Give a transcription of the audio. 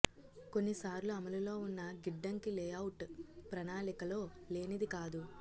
కొన్నిసార్లు అమలులో ఉన్న గిడ్డంగి లేఅవుట్ ప్రణాళికలో లేనిది కాదు